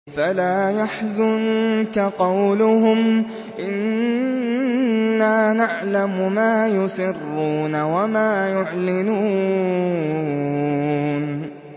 فَلَا يَحْزُنكَ قَوْلُهُمْ ۘ إِنَّا نَعْلَمُ مَا يُسِرُّونَ وَمَا يُعْلِنُونَ